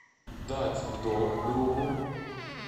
дать в долг другу